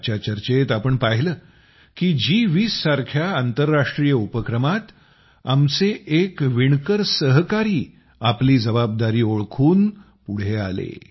आजच्या चर्चेत आम्ही पाहिलं की जी २० सारख्या आंतरराष्ट्रीय उपक्रमात आमचे एक विणकर मित्रांनी आपली जबाबदारी ओळखून ते पुढे आले